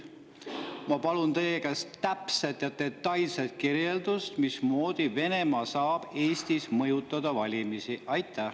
Ma palun teie käest täpset ja detailset kirjeldust, mismoodi Venemaa saab Eestis valimisi mõjutada.